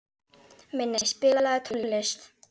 Minney, spilaðu tónlist.